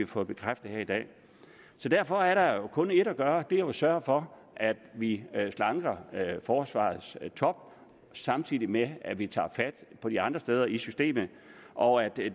fået bekræftet her i dag så derfor er der kun et at gøre det er jo at sørge for at vi slanker forsvarets top samtidig med at vi tager fat på de andre steder i systemet og at det